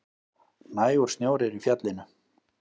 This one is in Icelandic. Nægur snjór er í fjallinu